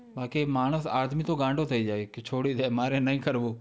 બાકી માણસ, આદમી તો ગાંડો થઈ જાય, કે, છોડી દે મારે નહીં કરવું.